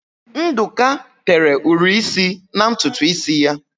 Ndụka tere ụri isi na ntutu isi ya.